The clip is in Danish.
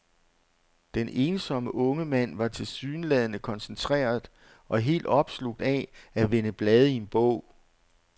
Den ensomme unge mand var tilsyneladende koncentreret og helt opslugt af at vende blade i en bog.